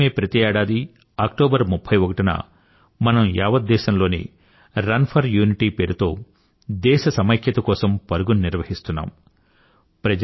ఇందుకోసమే ప్రతి ఏడాదీ అక్టోబర్ 31 న మనం యావత్ దేశంలో రన్ ఫర్ యూనిటీ పేరుతో దేశ సమైక్యత కోసం పరుగు ని నిర్వహిస్తున్నాం